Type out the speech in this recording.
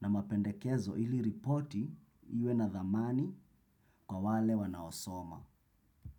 na mapendekezo ili ripoti iwe na thamani kwa wale wanaosoma.